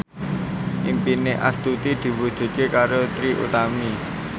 impine Astuti diwujudke karo Trie Utami